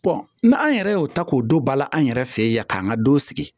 n'an yɛrɛ y'o ta k'o don ba la an yɛrɛ fɛ yen yan k'an ka don sigi